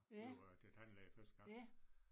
Da vi var til tandlæge første gang